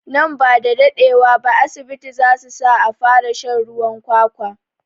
Nan bada daɗe wa ba asibiti zasu sa a fara shan ruwan kwakwa